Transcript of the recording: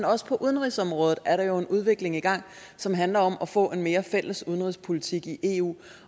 også på udenrigsområdet er en udvikling i gang som handler om at få en mere fælles udenrigspolitik i eu